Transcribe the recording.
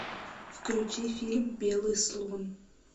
включи фильм белый слон